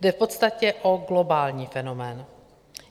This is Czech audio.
Jde v podstatě o globální fenomén.